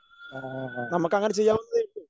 നമുക്കങ്ങനെ ചെയ്യാവുന്നതേയുള്ളൂ.